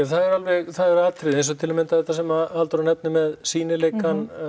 það er alveg það eru atriði eins og til að mynda þetta sem Halldóra nefnir með sýnileikann